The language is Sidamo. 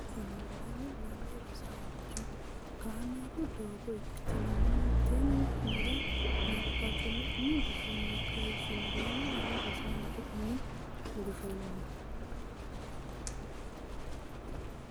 umi gufonni kayissine lame lame Rosaancho kaameelu doogo ikkitine mimmiti nera nabbabbe umi gufonni kayissine lame lame Rosaancho umi gufonni.